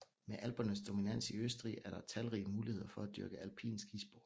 Med Alpernes dominans i Østrig er der talrige muligheder for at dyrke alpin skisport